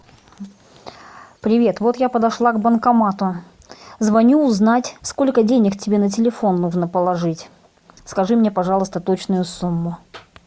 привет вот я подошла к банкомату звоню узнать сколько денег тебе на телефон нужно положить скажи мне пожалуйста точную сумму